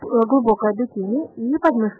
гугл таблицы